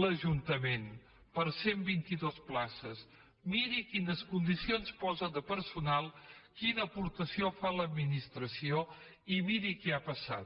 l’ajuntament per a cent i vint dos places miri quines condicions posa de personal quina aportació fa l’administració i miri què ha passat